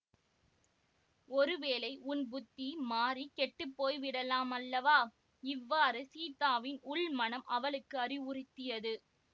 ஒருவேளை உன் புத்தி மாறி கெட்டு போய்விடலாம் அல்லவா இவ்வாறு சீதாவின் உள்மனம் அவளுக்கு அறிவுறுத்தியது